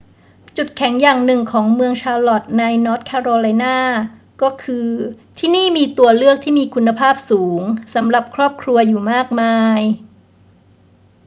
จุดแข็งอย่างหนึ่งของเมืองชาร์ล็อตต์ในนอร์ทแคโรไลนา ก็คือ ที่นี่มีตัวเลือกที่มีคุณภาพสูงสำหรับครอบครัวอยู่มากมาย